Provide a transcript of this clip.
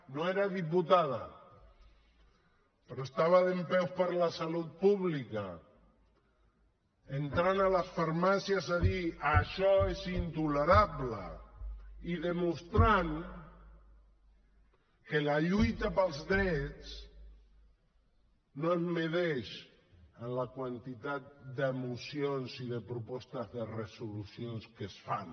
no era diputada però estava dempeus per la salut pública entrant a les farmàcies a dir això és intolerable i demostrant que la lluita pels drets no es mesura amb la quantitat de mocions i de propostes de resolució que es fan